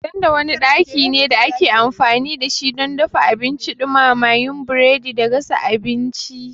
Tanda wani ɗaki ne da ake amfani da shi don dafa abinci, ɗumamawa, yin burodi da gasa abinci.